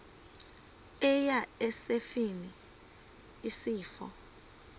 eya esifeni isifo